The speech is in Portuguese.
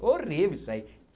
Horrível isso aí.